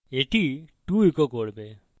এটি 2 echo করবে